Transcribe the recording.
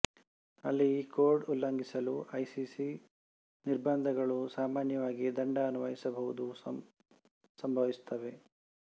ಅಲ್ಲಿ ಈ ಕೋಡ್ ಉಲ್ಲಂಘಿಸಲು ಐಸಿಸಿ ನಿರ್ಬಂಧಗಳು ಸಾಮಾನ್ಯವಾಗಿ ದಂಡ ಅನ್ವಯಿಸಬಹುದು ಸಂಭವಿಸುತ್ತವೆ